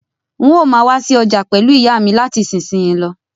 N o máa wa si ojà pẹ̀lu ìyámi láti isinsin yi lo